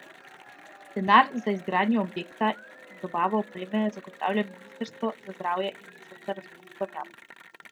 Denar za izgradnjo objekta in dobavo opreme zagotavlja ministrstvo za zdravje iz načrta razvojnih programov.